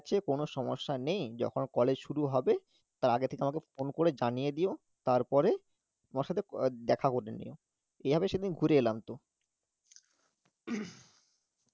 কোনো সমস্যা নেই যখন কলেজ শুরু হবে তার আগে থেকে আমাকে phone করে জানিয়ে দিও তারপরে আমার সাথে ক~ আহ দেখা করে নিও এভাবে সেদিন ঘুরে এলাম তো